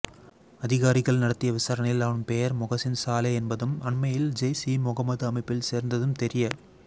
அதிகாரிகள் நடத்திய விசாரணையில் அவன் பெயர் மொகசின் சாலே என்பதும் அண்மையில் ஜெய்ஸ் இ முகமது அமைப்பில் சேர்ந்ததும் தெரிய